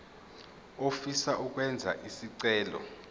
ofisa ukwenza isicelo